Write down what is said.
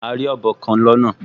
A rí ọ̀bọ kan lọ́nà